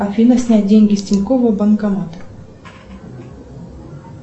афина снять деньги с тинькоффа банкомат